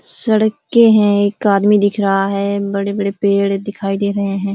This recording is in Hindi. सड़कें है एक आदमी दिख रहा है बड़े -बड़े पेड़ दिखाई दे रहे हैं।